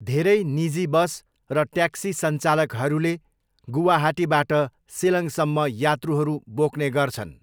धेरै निजी बस र ट्याक्सी सञ्चालकहरूले गुवाहाटीबाट सिलङसम्म यात्रुहरू बोक्ने गर्छन्।